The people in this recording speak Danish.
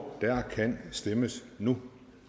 der kan stemmes nu